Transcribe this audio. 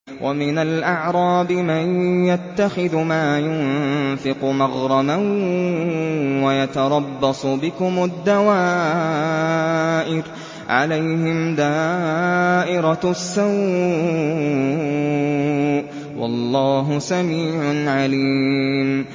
وَمِنَ الْأَعْرَابِ مَن يَتَّخِذُ مَا يُنفِقُ مَغْرَمًا وَيَتَرَبَّصُ بِكُمُ الدَّوَائِرَ ۚ عَلَيْهِمْ دَائِرَةُ السَّوْءِ ۗ وَاللَّهُ سَمِيعٌ عَلِيمٌ